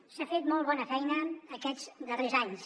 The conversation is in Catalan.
s’ha fet molt bona feina aquests darrers anys